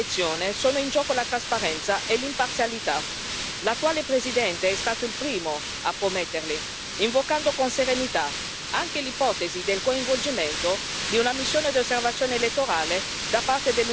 L'attuale presidente è stato il primo a prometterli, invocando con serenità anche l'ipotesi del coinvolgimento di una missione di osservazione elettorale da parte dell'Unione europea, come già ricordato dall'Alto rappresentante.